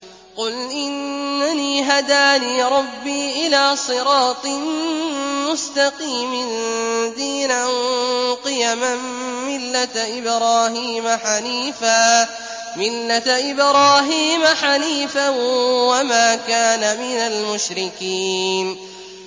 قُلْ إِنَّنِي هَدَانِي رَبِّي إِلَىٰ صِرَاطٍ مُّسْتَقِيمٍ دِينًا قِيَمًا مِّلَّةَ إِبْرَاهِيمَ حَنِيفًا ۚ وَمَا كَانَ مِنَ الْمُشْرِكِينَ